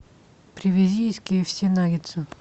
привези из кфс наггетсы